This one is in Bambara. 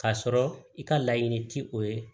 K'a sɔrɔ i ka laɲini ti o ye